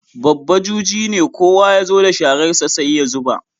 Babba juji ne, kowa ya zo da shararsa sai ya zuba.